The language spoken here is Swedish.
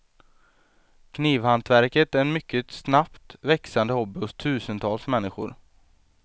Knivhantverket är en mycket snabbt växande hobby hos tusentals människor.